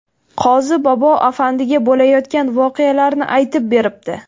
Qozi bobo Afandiga bo‘layotgan voqealarni aytib beribdi.